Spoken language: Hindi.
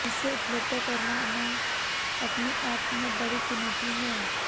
जिसे उपलब्ध कराना अपने आप में बड़ी चुनौती है